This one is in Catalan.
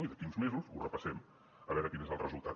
i d’aquí a uns mesos ho repassem a veure quin és el resultat